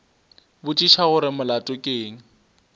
botšiša gore molato ke eng